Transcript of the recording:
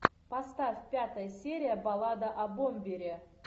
поставь пятая серия баллада о бомбере